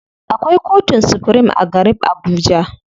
Akwai kotun supirim a garib Abuja.